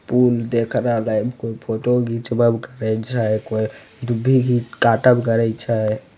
पुल देख रहले कोय फोटो घिचबब करे छै कोय दुभी भी काटव करे छै।